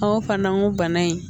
Ɔ fana ko bana in